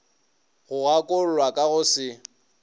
go gakollwa ka go se